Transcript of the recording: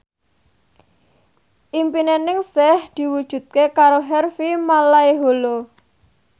impine Ningsih diwujudke karo Harvey Malaiholo